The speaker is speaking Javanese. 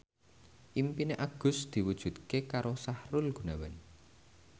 impine Agus diwujudke karo Sahrul Gunawan